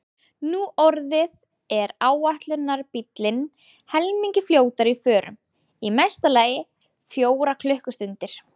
Nú orðið er áætlunarbíllinn helmingi fljótari í förum, í mesta lagi fjórar klukkustundir.